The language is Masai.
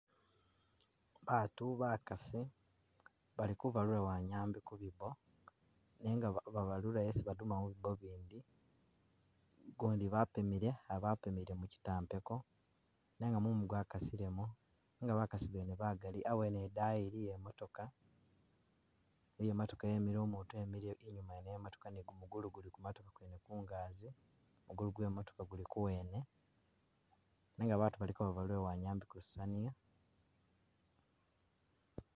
Baatu bakasi bali kubalula wanyambi kubiibo nenga babalula esi baduma mubiibo ibindi ugundi bapimile a'bapimile mukitampeko nenga mumu gwakasilemo nenga bakasi bene bagaali awene , dani iliyo imatoka iliyo imatoka yemile umutu emile inyuma yene ye'matooka ne gumugulu guli kumatooka kungazi muguulu gwe matooka gwene guli kuwene nenga baatu baliko babalula wanyambi kulusaniya.